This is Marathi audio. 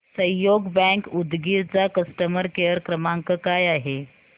सहयोग बँक उदगीर चा कस्टमर केअर क्रमांक काय आहे